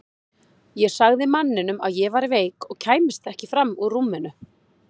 Ég sagði manninum að ég væri veik og kæmist ekki fram úr rúminu.